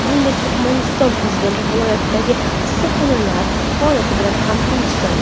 Shuningdek, Turkmaniston prezidenti viloyatdagi issiqxonalar faoliyati bilan ham tanishgan.